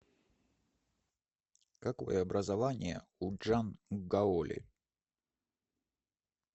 какое образование у чжан гаоли